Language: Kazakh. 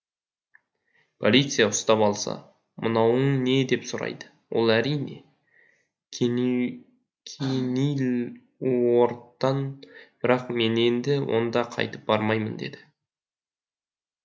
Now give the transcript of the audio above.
полиция ұстап алса мынауың не деп сұрайды ол әрине кенилуорттан бірақ мен енді онда қайтып бармаймын дейді